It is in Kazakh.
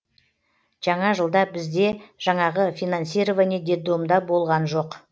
жаңа жылда бізде жаңағы финансирование детдомда болған жоқ